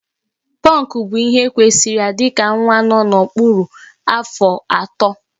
Pọnkụ bụ ihe kwesịịrị ya dịka nwa nọ n'okpuru afọ atọ